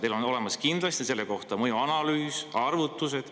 Teil on olemas kindlasti selle kohta mõjuanalüüs, arvutused.